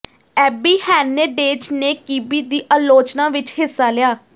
ਐਬੀ Hernandez ਨੇ ਕਿਬੀ ਦੀ ਆਲੋਚਨਾ ਵਿੱਚ ਹਿੱਸਾ ਲਿਆ